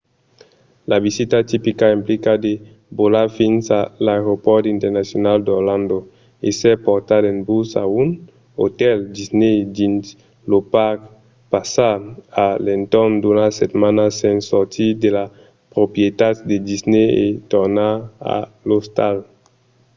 la visita tipica implica de volar fins a l’aeropòrt internacional d’orlando èsser portat en bus a un otèl disney dins lo parc passar a l’entorn d’una setmana sens sortir de las proprietats de disney e tornar a l’ostal